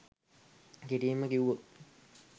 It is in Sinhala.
කෙටියෙන්ම කිව්වොත්